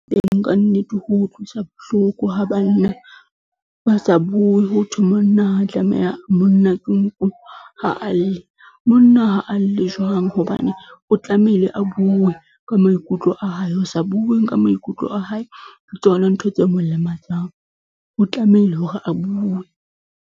ka nnete ho utlwisa bohloko ha banna ba sa bue, ho thwe monna ke nku ha a lle, monna ha a lle jwang hobane o tlamehile a bue ka maikutlo a hae, ho sa bue ka maikutlo a hae ke tsona ntho tse mo lematsang, o tlamehile hore a bue.